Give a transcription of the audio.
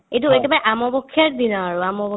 এইটো এইটো মে আমপক্ষেৰ দিনা আৰু আমপক্ষে